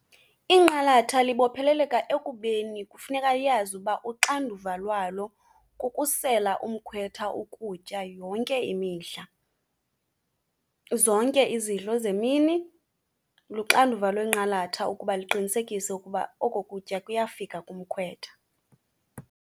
Inqalatha libopheleleka ekubeni kufuneka iyazi uba uxanduva lwalo kukusela umkhwetha ukutya yonke imihla, zonke izidlo zemini luxanduva lwenqalatha ukuba liqinisekise ukuba oko kutya kuyafika kumkhwetha.